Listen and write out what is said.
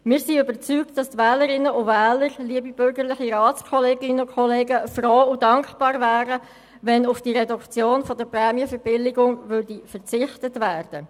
Wir sind überzeugt, dass die Wählerinnen und Wähler froh und dankbar wären, wenn auf die Reduktion der Prämienverbilligungen verzichtet würde.